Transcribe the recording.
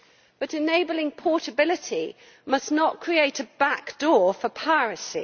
But enabling portability must not create a back door for piracy.